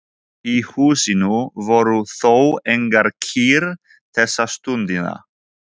Í húsinu voru þó engar kýr þessa stundina.